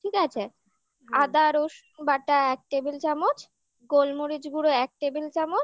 ঠিক আছে আদা রসুন বাটা এক table চামচ গোলমরিচ গুঁড়ো এক table চামচ